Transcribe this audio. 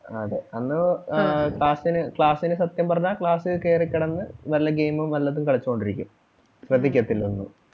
അതെ അന്ന് ആഹ് class ന് class ന് സത്യം പറഞ്ഞാ class ല് കേറി കിടന്ന് വല്ല game ഉം വല്ലതും കളിച്ചോണ്ട് ഇരിക്കും ശ്രദ്ധിക്കത്തില്ല ഒന്നും.